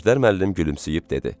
Əjdər müəllim gülümsəyib dedi.